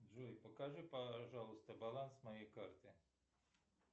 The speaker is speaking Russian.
джой покажи пожалуйста баланс моей карты